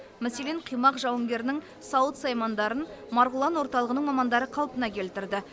мәселен қимақ жауынгерінің сауыт саймандарын марғұлан орталығының мамандары қалпына келтірді